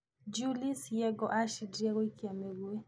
Julie's Yego acindire gũikia mũgwĩ.